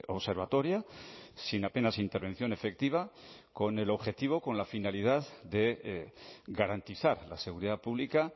observatoria sin apenas intervención efectiva con el objetivo con la finalidad de garantizar la seguridad pública